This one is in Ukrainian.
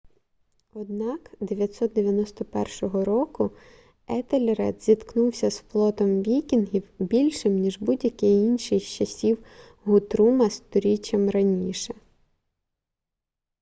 однак 991 року етельред зіткнувся з флотом вікінгів більшим ніж будь-який інший з часів гутрума сторіччям раніше